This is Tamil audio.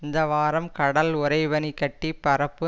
இந்த வாரம் கடல் உறை பனிக்கட்டிப் பரப்பு